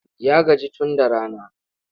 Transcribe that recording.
Ya gaji tun da rana.